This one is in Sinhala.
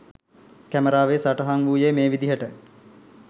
කැමරාවේ සටහන් වූයේ මේ විදිහට.